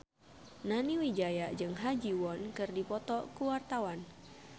Nani Wijaya jeung Ha Ji Won keur dipoto ku wartawan